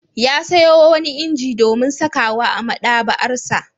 Ya sayo wani inji domin sakawa a maɗaba'arsa.